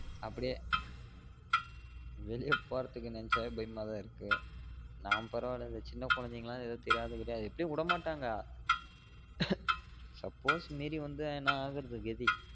அப்புடியே வெளிய போறதுக்கு நெனச்சாலே பயமா தான் இருக்கு நான் பரவாயில்ல இந்த சின்ன கொழந்தைன்கலாம் ஏதோ தெரியாது கிரியாது எப்டியும் உட மாட்டாங்க suppose மீறி வந்தா என்ன ஆகுரது கதி